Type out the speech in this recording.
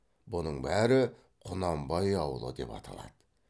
бұның бәрі құнанбай ауылы деп аталады